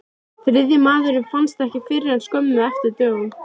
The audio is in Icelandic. Þriðji maðurinn fannst ekki fyrr en skömmu eftir dögun.